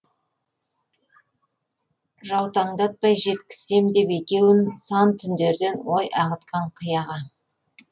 жаутаңдатпай жеткізсем деп екеуін сан түндерден ой ағытқан қияға